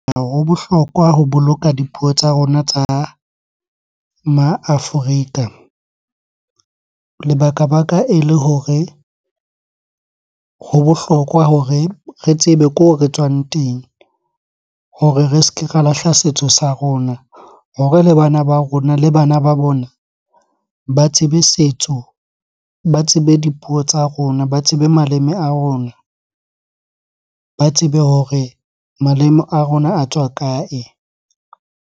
Ho bohlokwa ho boloka dipuo tsa rona tsa ma Afrika. Lebakabaka ele hore ho bohlokwa hore re tsebe ko re tswang teng hore re se ke ra lahla setso sa rona hore le bana ba rona le bana ba bona ba tsebe setso, ba tsebe dipuo tsa rona, ba tsebe maleme a rona. Ba tsebe hore maleme a rona a tswa kae?